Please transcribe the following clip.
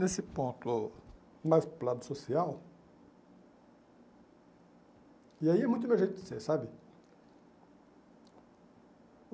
Nesse ponto mais para o lado social, e aí é muito meu jeito de ser, sabe?